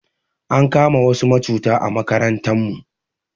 Ankama wasu macuta a makarantan mu